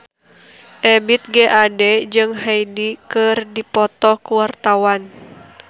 Ebith G. Ade jeung Hyde keur dipoto ku wartawan